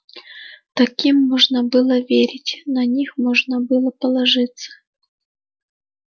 таким можно было верить на них можно было положиться